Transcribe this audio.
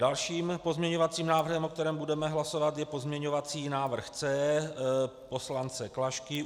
Dalším pozměňovacím návrhem, o kterém budeme hlasovat, je pozměňovací návrh C poslance Klašky.